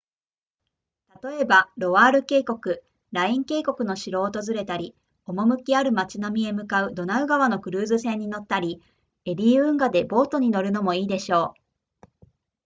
例えばロワール渓谷ライン渓谷の城を訪れたり趣ある街並みへ向かうドナウ川のクルーズ船に乗ったりエリー運河でボートに乗るのもいいでしょう